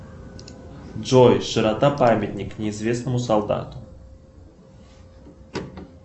джой широта памятник неизвестному солдату